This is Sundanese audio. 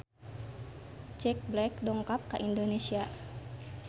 Jack Black dongkap ka Indonesia